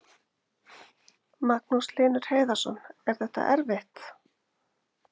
Magnús Hlynur Hreiðarsson: Er þetta erfitt?